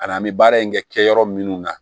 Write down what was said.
Ani an bɛ baara in kɛ yɔrɔ minnu na